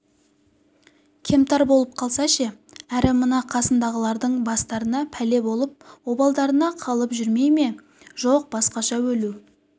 кемтар болып қалса ше әрі мына қасындағылардың бастарына пәле болып обалдарына қалып жүрмей ме жоқ басқаша өлу